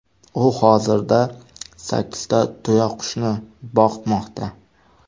U hozirda sakkizta tuyaqushni boqmoqda.